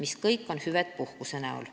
Need kõik on ju hüved puhkuse näol.